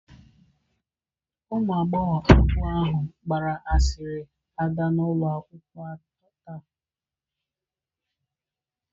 Ụmụ agbọghọ abụọ ahụ gbara asịrị ada n'ụlọ akwụkwọ taa.